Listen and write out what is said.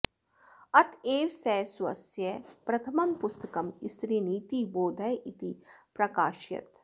अत एव सः स्वस्य प्रथमं पुस्तकं स्त्रीनीतिबोधः इति प्राकाशयत्